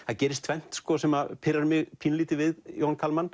það gerist tvennt sem pirrar mig pínulítið við Jón